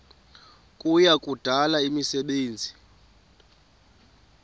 kuya kudala imisebenzi